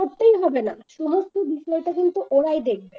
করতেই হবে না। সমস্ত বিষয়টা কিন্তু ওরাই দেখবে